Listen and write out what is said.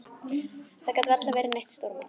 Það gat varla verið neitt stórmál.